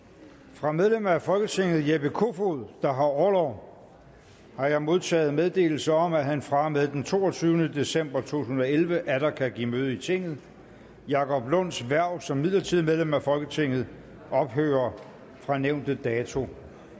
fra medlem af folketinget jeppe kofod der har orlov har jeg modtaget meddelelse om at han fra og med den toogtyvende december to tusind og elleve atter kan give møde i tinget jacob lunds hverv som midlertidigt medlem af folketinget ophører fra nævnte dato